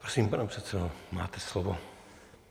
Prosím, pane předsedo, máte slovo.